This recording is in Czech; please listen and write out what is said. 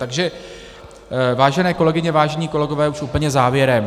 Takže vážené kolegyně, vážení kolegové, už úplně závěrem.